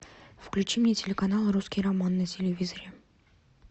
включи мне телеканал русский роман на телевизоре